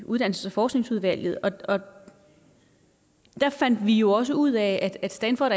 uddannelses og forskningsudvalget og der fandt vi jo også ud af at stanford